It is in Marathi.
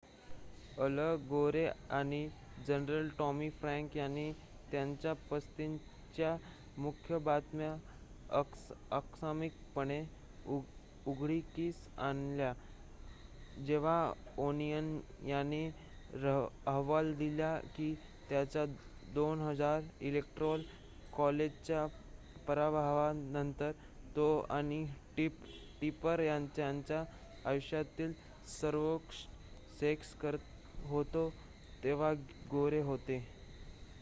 अल गोरे आणि जनरल टॉमी फ्रॅंक यांनी त्यांच्या पसंतीच्या मुख्य बातम्या आकस्मिकपणे उघडकीस आणल्या जेव्हा ओनियनने अहवाल दिला की त्याच्या 2000 इलेक्टोरल कॉलेजच्या पराभवानंतर तो आणि टिपर त्यांच्या आयुष्यातील सर्वोत्कृष्ट सेक्स करत होते तेव्हा गोरे होते